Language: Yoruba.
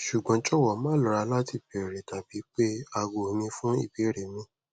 sugbon jowo ma lora lati beere tabi pe ago mi fun ibeere mi